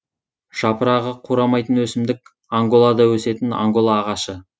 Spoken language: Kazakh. жапырағы қурамайтын өсімдік анголада өсетін ангола ағашы